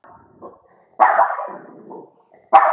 Gunnar Atli: Hundleiðinleg?